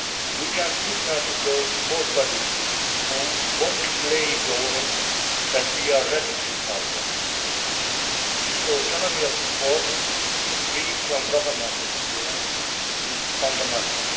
We can signal to those sport bodies which want to play ball that we are ready to help them. The autonomy of sport, free from government interference, is fundamental